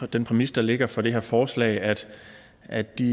den præmis der ligger for det her forslag altså at de